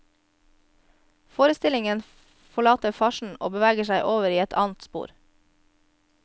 Forestillingen forlater farsen og beveger seg over i et annet spor.